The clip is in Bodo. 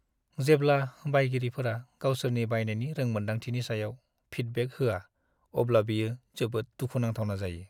जेब्ला बायगिरिफोरा गावसोरनि बायनायनि रोंमोनदांथिनि सायाव फिडबेक होआ अब्ला बियो जोबोद दुखु नांथावना जायो।